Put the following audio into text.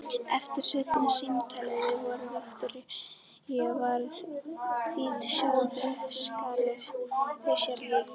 Eftir seinna símtalið við Viktoríu varð Dídí sjálfri sér lík.